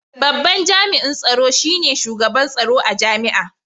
Babban Jami’in Tsaro shi ne Shugaban Tsaro a Jami’a.